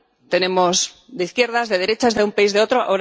Tenemos de izquierdas, de derechas, de un país, de otro...